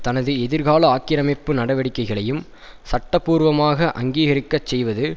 தனது எதிர்கால ஆக்கிரமிப்பு நடவடிக்கைகளையும் சட்டபூர்வமாக அங்கீககரிக்கச் செய்வது